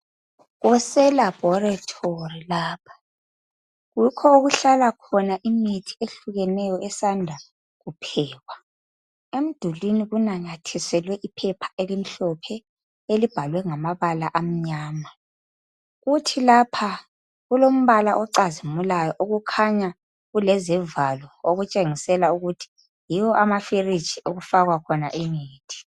Kuleselabhorethori lapha yikho okuhlala khona imithi eyehlukeneyo esanda kuphekwa. Emdulini kunanyathiselwe iphepha elimhlophe elibhalwe ngama bala amnyama. Kuthi lapha kulombala ocazimulayo okukhanya kulezivalo okutshengisela ukuthi yiyo amafiriji okufakwa khona imithi.